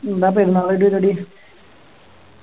എന്ന പെരുന്നാളായിട്ട് പരിപാടി